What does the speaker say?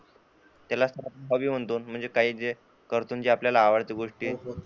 त्यालाच आपण हॉबी म्हणतो म्हणजे काही जे करतो आणि ते आपल्याला आवडते गोष्टी.